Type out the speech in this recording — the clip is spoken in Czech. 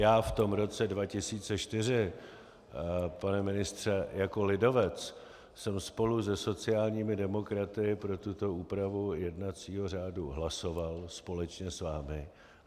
Já v tom roce 2004, pane ministře, jako lidovec jsem spolu se sociálními demokraty pro tuto úpravu jednacího řádu hlasoval, společně s vámi.